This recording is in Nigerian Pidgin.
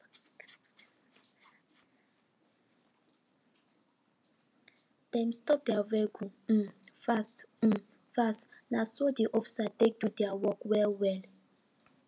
dem stop their vehicle um fast um fast na so de officers take do their work well well